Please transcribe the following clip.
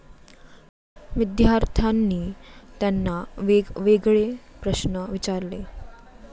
विद्यार्थ्यांनी त्यांना वेगवेगळे प्रश्न विचारले.